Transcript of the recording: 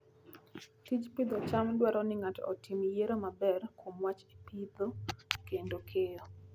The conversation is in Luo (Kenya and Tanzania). Tij pidho cham dwaro ni ng'ato otim yiero maber kuom wach pidho kod keyo.